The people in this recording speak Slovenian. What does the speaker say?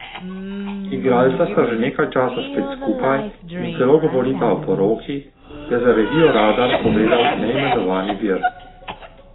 Igralca sta že nekaj časa spet skupaj in celo govorita o poroki, je za revijo Radar povedal neimenovani vir.